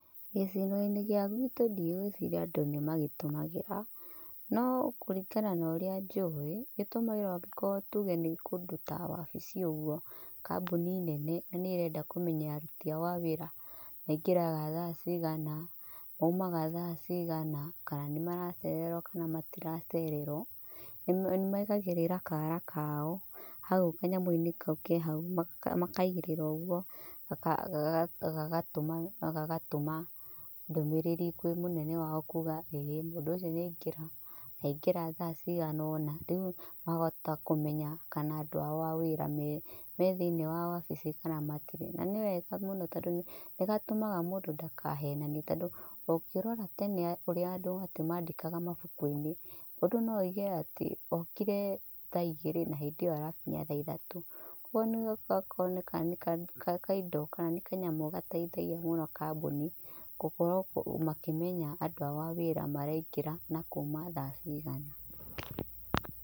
Gĩcigo-inĩ gia gwĩtũ ndigwĩciria andũ nĩ magĩtũmagĩra. No kũringana na ũrĩa njuĩ, gĩtũmagĩrwo angĩkorwo tuge nĩ kũndũ ta wabici ũguo. Kambuni nene na nĩ ĩrenda kũmenya aruti aao a wĩra maĩgĩraga thaa ciigana, maumaga thaa ciigana, kana nĩmaracererwo kana matiracerewo. Nĩmaigagĩrĩra kaara kao hau kanyamũinĩ kau ke hau, makaĩgĩrĩra ũguo gagatũma ndũmirĩri kwĩ mũnene wao kuuga ĩĩ mũndũ ũcio nĩ anigĩra, na aingĩra thaa ciganona. Rĩu mahota kũmenya kana andũ aao a wĩra me thĩini wa wabici kana matĩrĩ. Na nĩ wega mũno tondũ nĩgatũmaga mũndũ ndakahenanie. Tondũ ũngĩrora tene kũrĩa andũ atĩ maandĩkaga mabukuinĩ, mũndũ no oige atĩ okiew thaa ĩgĩrĩ na hĩndĩ ĩyo arakinya thaa ithatũ. Kũoguo nĩ gũkoneka nĩ kaindo kana nĩ kanyamũ gateithagia mũno kambuni gũkoragwo makĩmenya andũ aao a wĩra maraingĩra na kuuma thaa ciigana,